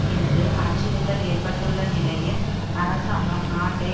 என்று அச்சுறுத்தல் ஏற்பட்டுள்ள நிலையில் அரசாங்கம் நாட்டை